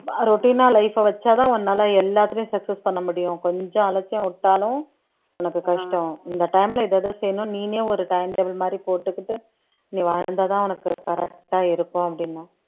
routine ஆ life அ வச்சாதான் உன்னால எல்லாத்துலயும் success பண்ண முடியும் கொஞ்சம் அலட்சியம் விட்டாலும் உனக்கு கஷ்டம் இந்த time ல இது எதெத செய்யணும் நீனே ஒரு time table மாதிரி போட்டுக்கிட்டு நீ வாழ்ந்தாதான் உனக்கு correct ஆ இருக்கும் அப்படின்னேன்